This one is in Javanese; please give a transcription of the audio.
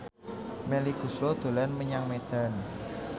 Melly Goeslaw dolan menyang Medan